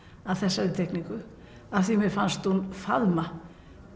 að þessari teikningu af því mér fannst hún faðma